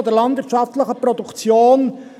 ] der landwirtschaftlichen Produktion[…